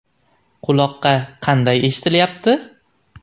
Quloqqa qanday eshitilyapti?